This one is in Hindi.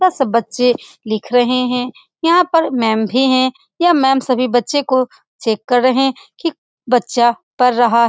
बच्चे लिख रहे हैं यहां पर मैम भी है यह मैम सभी बच्चों को चेक कर रहे है की बच्चा पढ़ रहा --